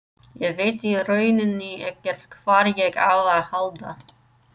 Ég veit í rauninni ekkert hvað ég á að halda.